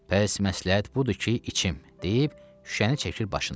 Pəs məsləhət budur ki, içim, deyib şüşəni çəkir başına.